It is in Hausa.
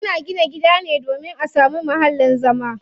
Ana gina gida ne domin a samu muhallin zama.